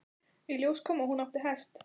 Í ljós kom að hún átti hest.